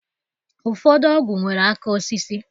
Ụfọdụ ọgụ nwere aka osisi.